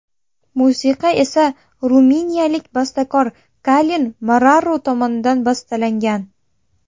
Musiqa esa ruminiyalik bastakor Kalin Moraru tomonidan bastalangan.